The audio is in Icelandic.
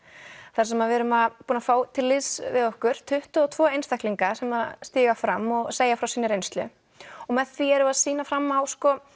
þar sem við erum búin að fá til liðs við okkur tuttugu og tveggja einstaklinga sem stíga fram og segja frá sinni reynslu með því erum við að sýna fram á